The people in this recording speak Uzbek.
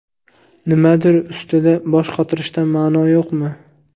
Nimadir ustida bosh qotirishdan ma’no yo‘qmi?